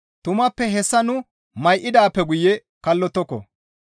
Tumappe hessa nu may7idaappe guye kallottoko.